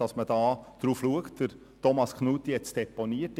Thomas Knutti hat das Anliegen deponiert.